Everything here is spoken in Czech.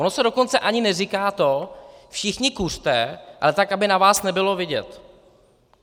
Ono se dokonce ani neříká to všichni kuřte, ale tak, aby na vás nebylo vidět.